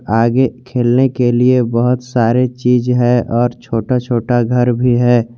आगे खेलने के लिए बहुत सारे चीज है और छोटा छोटा घर भी है।